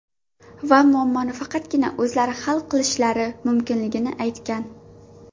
Va muammoni faqatgina o‘zlari hal qilishlari mumkinligini aytgan.